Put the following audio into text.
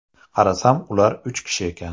Qarasam ular uch kishi ekan.